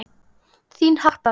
Þín Harpa Rut.